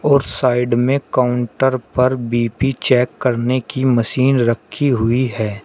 और साइड में काउंटर पर बी_पी चेक करने की मशीन रखी हुई है।